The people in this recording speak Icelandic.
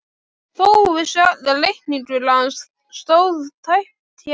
Þó vissu allir að reikningur hans stóð tæpt hjá